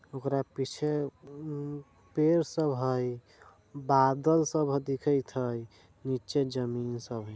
उसका पिच्छे पेड़ सब हई बादल सब दिखत हई निचे जमीन सब हई।